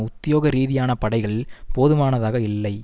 உத்தியோக ரீதியான படைகள் போதுமானதாகயில்லை